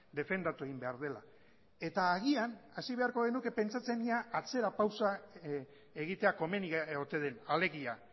defendatu egin behar dela eta agian hasi beharko genuke pentsatzen ea atzera pausua egitea komeni ote den alegia